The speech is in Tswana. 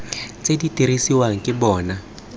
tse di dirisiwang ke bona